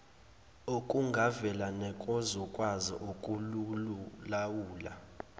okungavela nezokwazi ukukulawula